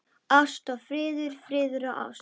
Ást og friður, friður og ást.